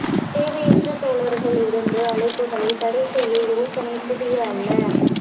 தேவையற்ற தோழர்கள் இருந்து அழைப்புகள் தடை செய்ய யோசனை புதிய அல்ல